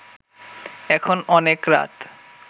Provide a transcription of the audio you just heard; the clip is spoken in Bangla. এখন অনেক রাত